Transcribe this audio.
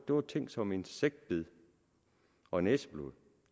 var ting som insektbid og næseblod